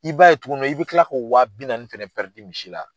I b'a ye tuguni i bɛ kila k'o wa bi naani fɛnɛ misi la.